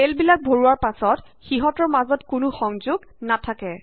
চেলবিলাক ভৰোৱাৰ পাছত সিহঁতৰ মাজঅত কোনো সংযোগ নাথাকে